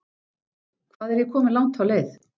Hvað er ég komin langt á leið?